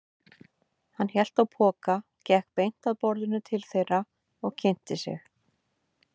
Hann hélt á poka, gekk beint að borðinu til þeirra og kynnti sig.